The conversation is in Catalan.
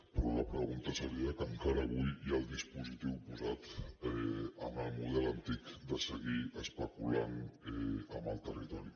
però la pregunta seria que encara avui hi ha el dispositiu posat en el model antic de seguir especulant amb el territori